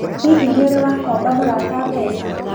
Hihi nĩ ũrĩ wakomba mũrata mbeca?